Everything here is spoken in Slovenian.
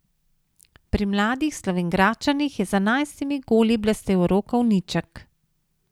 Pri mladih Slovenjgradčanih je z enajstimi goli blestel Rok Ovniček.